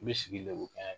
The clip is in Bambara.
U bɛ sigi lenw kɛ